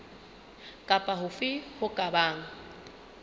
kapa hofe ho ka bang